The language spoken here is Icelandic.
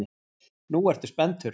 Nú ertu spenntur.